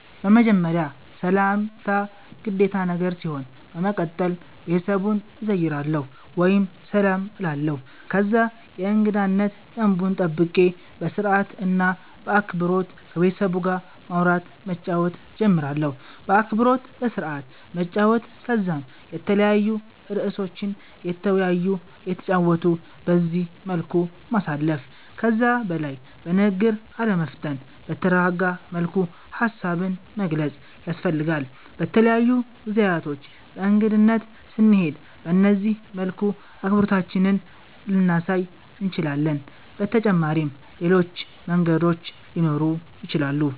በመጀመርያ ሰላምታ ግዴታ ነገር ሲሆን በመቀተል ቤተሰቡን እዘይራለሁ ወይም ሰላም እላለሁ ከዛ የእንገዳነት ደንቡን ጠብቄ በስርአት እና በአክበሮት ከቤተሰቡ ጋር ማዉራት መጫወት ጀምራለሁ። በአክብሮት በስርአት መጨዋወት ከዛም የተለያዩ እርእሶችን እየተወያዩ እየተጨዋወቱ በዚህ መልኩ ማሳለፍ። ከዛ በላይ በንግግር አለመፍጠን በተረጋጋ መልኩ ሃሳብን መግለፅ ያስፈልጋል። በተለያዩ ጊዜያቶች በእንግድነት ስንሄድ በነዚህ መልኩ አክብሮታችንን ልናሳይ እንችላለን። በተጫመሪም ሌሎች መንገዶችም ሊኖሩ ይችላሉ